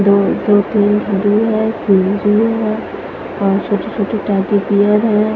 दो दो तीन ओर छोटे छोटे टेडी बियर है।